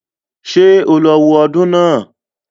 Ṣé o lọ wo ọdún náà